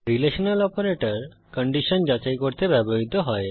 relational operator condition যাচাই করতে ব্যবহৃত হয়